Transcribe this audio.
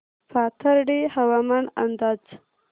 पाथर्डी हवामान अंदाज